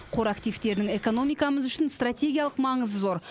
қор активтерінің экономикамыз үшін стратегиялық маңызы зор